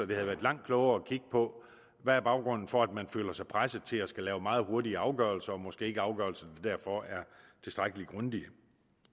det havde været langt klogere at kigge på hvad baggrunden er for at man føler sig presset til at skulle lave meget hurtige afgørelser og måske ikke afgørelser der derfor er tilstrækkelig grundige